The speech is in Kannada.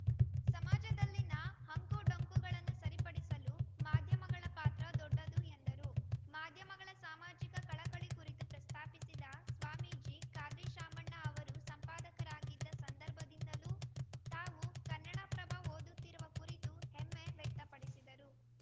ಸಮಾಜದಲ್ಲಿನ ಅಂಕುಡೊಂಕುಗಳನ್ನು ಸರಿಪಡಿಸಲು ಮಾಧ್ಯಮಗಳ ಪಾತ್ರ ದೊಡ್ಡದು ಎಂದರು ಮಾಧ್ಯಮಗಳ ಸಾಮಾಜಿಕ ಕಳಕಳಿ ಕುರಿತು ಪ್ರಸ್ತಾಪಿಸಿದ ಸ್ವಾಮೀಜಿ ಖಾದ್ರಿ ಶಾಮಣ್ಣ ಅವರು ಸಂಪಾದಕರಾಗಿದ್ದ ಸಂದರ್ಭದಿಂದಲೂ ತಾವು ಕನ್ನಡಪ್ರಭ ಓದುತ್ತಿರುವ ಕುರಿತು ಹೆಮ್ಮೆ ವ್ಯಕ್ತಪಡಿಸಿದರು